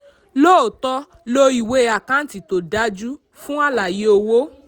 lóòótọ́ lo ìwé àkántì tó dájú fún àlàyé owó.